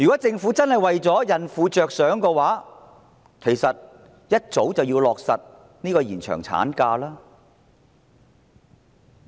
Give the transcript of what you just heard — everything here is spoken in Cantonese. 政府若真的為孕婦着想，便早應落實延長產假的安排。